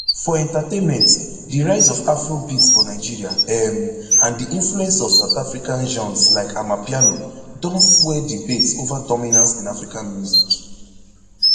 for entertainment di rise of afrobeats for nigeria um and di influence of south african genres like amapiano don fuel debates ova dominance in african music